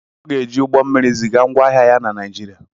Ọ ga-eji ụgbọ mmiri ziga ngwá ahịa ya na Nijiria